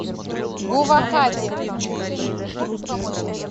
гувахати